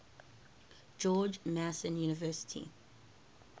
george mason university